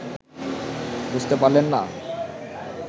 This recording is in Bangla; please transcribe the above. বুঝতে পারলেন না